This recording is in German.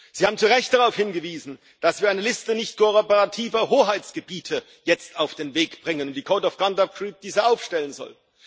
Sie haben zu Recht darauf hingewiesen, dass wir eine Liste nicht kooperativer Hoheitsgebiete jetzt auf den Weg bringen und die Code of Conduct Group diese aufstellen soll.